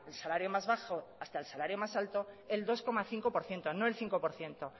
salario más bajo hasta el salario más alto el dos coma cinco por ciento no el cinco por ciento